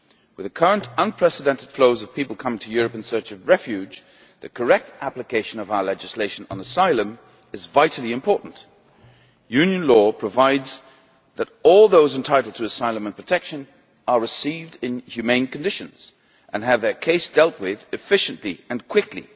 With the current unprecedented flows of people coming to Europe in search of refuge, the correct application of our legislation on asylum is vitally important. EU law provides that all those entitled to asylum and protection are received in humane conditions and have their case dealt with efficiently and quickly.